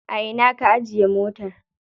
A ina ka ajiye motar?